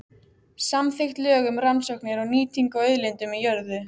Samþykkt lög um rannsóknir og nýtingu á auðlindum í jörðu.